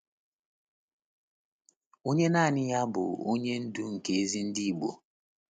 Onye naanị ya bụ Onye Ndu nke ezi ndị Igbo?